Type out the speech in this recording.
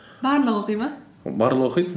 барлығы оқи ма барлығы оқиды